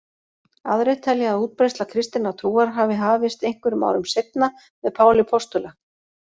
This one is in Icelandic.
Aðrir telja að útbreiðsla kristinnar trúar hafi hafist einhverjum árum seinna með Páli postula.